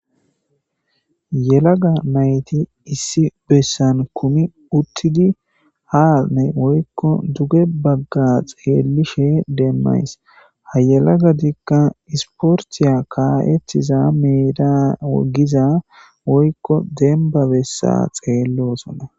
Yelaga nayti issi besan kumi utidi ha woyko duge baga xelishe demays ha yelagatika isportiya ka'etiza meda giza woyko demba besa xelosona.